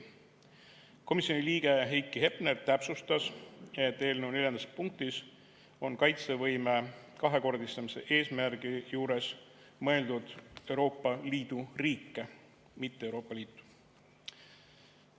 Komisjoni liige Heiki Hepner täpsustas, et eelnõu neljandas punktis on kaitsevõime kahekordistamise eesmärgi juures mõeldud Euroopa Liidu riike, mitte Euroopa Liitu.